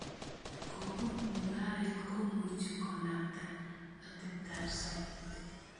Kobun mung�aret komuche konapta ateptab sobet.